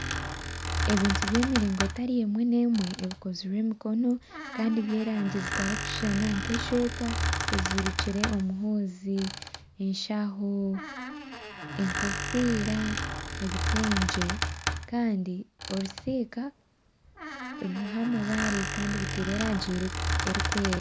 Ebintu by'emiringo etari emwe n'emwe ebikozirwe emikono kandi by'erangi zitarikushuushana nka esweeta ezirukire omuhuuzi, eshaaho egofiira ebitengye kandi orusiika ruriho amabaare kandi rutaire erangi erikwera